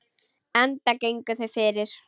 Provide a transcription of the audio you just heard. Enda gengu þau fyrir.